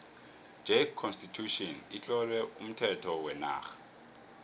j constitution itlowe umthetho wenarha